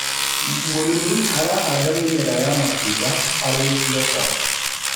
mũrĩmi arahanda mĩmera ya matunda harĩ biashara